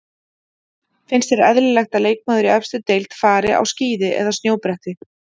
Finnst þér eðlilegt að leikmaður í efstu deild fari á skíði eða snjóbretti?